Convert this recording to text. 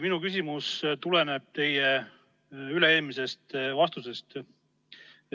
Minu küsimus tuleneb teie üle-eelmisest vastusest.